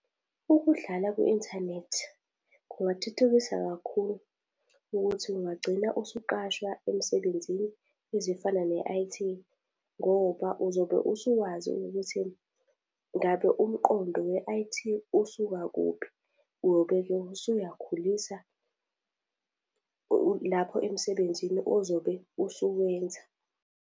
Ukudlala kwi-inthanethi, kungathuthukisa kakhulu ukuthi kungagcina usuqashwa emsebenzini ezifana ne-I_T. Ngoba uzobe usuwazi ukuthi ngabe umqondo we-I_T usuka kuphi. Uyobe-ke usuyakhulisa lapho emsebenzini ozobe usuwenza.